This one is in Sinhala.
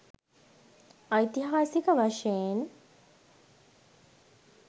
ඓතිහාසික වශයෙන්